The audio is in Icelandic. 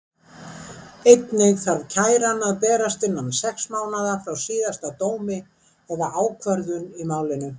Einnig þarf kæran að berast innan sex mánaða frá síðasta dómi eða ákvörðun í málinu.